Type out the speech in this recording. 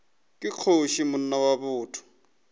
ke kgoši monna wa botho